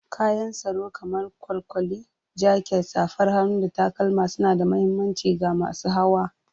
Kayan tsaro kamar kwalkwali, jaket, safar hannu, da takalma suna da mahimmanci ga masu hawa.